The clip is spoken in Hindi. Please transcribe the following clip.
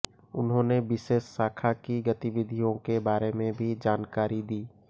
उन्होने विशेष शाखा की गतिविधियों के बारे में भी जानकारी दी